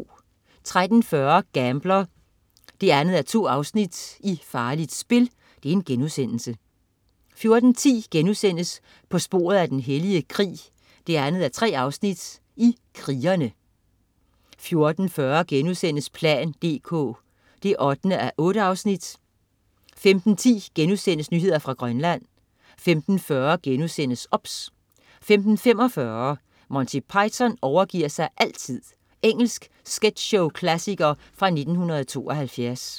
13.40 Gambler 2:2. Farligt spil* 14.10 På sporet af den hellige krig 2:3. Krigerne* 14.40 plan dk 8:8* 15.10 Nyheder fra Grønland* 15.40 OBS* 15.45 Monty Python overgi'r sig altid. Engelsk sketchshow-klassiker fra 1972